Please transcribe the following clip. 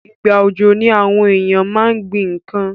Ìgbà òjò ni àwon éyàn ma n gbín nkan